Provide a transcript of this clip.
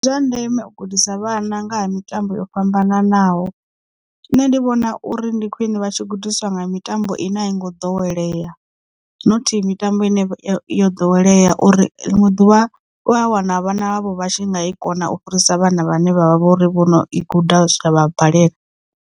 Ndi zwa ndeme u gudisa vhana nga ha mitambo yo fhambananaho nṋe ndi vhona uri ndi khwine vha tshi gudiswa nga mitambo ine a i ngo ḓowelea not mitambo ine yo ḓowelea uri ḽiṅwe ḓuvha u a wana vhana havho vha tshi nga kona u fhirisa vhana vhane vhavha vho uri vho no i guda zwa vha balela.